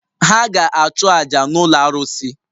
Ha ga-achụ àjà n’ụlọ arụsị